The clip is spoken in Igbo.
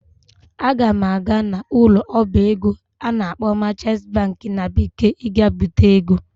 Aga m aga n'ụlọ ọba ego a na-akpọ "merchant bank" na bekee iga bite ego